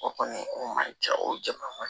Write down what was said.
O kɔni o man ca o jama